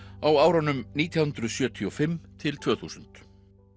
á árunum nítján hundruð sjötíu og fimm til tvö þúsund